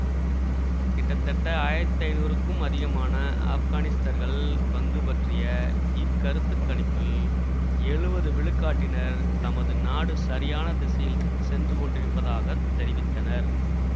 கிட்டத்தட்ட ஆயிரத்தி ஐநூறுக்கும் அதிகமான ஆப்கானிஸ்தர்கள் பங்கு பற்றிய இக்கருத்துக் கணிப்பில் எழுவது விழுக்காட்டினர் தமது நாடு சரியான திசையில் சென்றுகொண்டிருப்பதாகத் தெரிவித்தனர்